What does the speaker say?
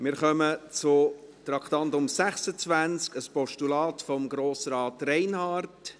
Wir kommen zum Traktandum 26, einem Postulat von Grossrat Reinhard.